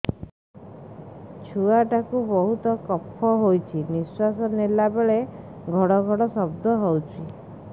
ଛୁଆ ଟା କୁ ବହୁତ କଫ ହୋଇଛି ନିଶ୍ୱାସ ନେଲା ବେଳେ ଘଡ ଘଡ ଶବ୍ଦ ହଉଛି